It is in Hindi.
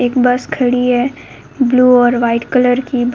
एक बस खड़ी है ब्लू और वाइट कलर की बस --